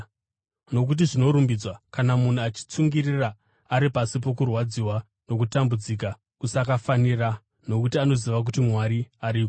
Nokuti zvinorumbidzwa kana munhu achitsungirira ari pasi pokurwadziwa nokutambudzika kusakafanira nokuti anoziva kuti Mwari ariko.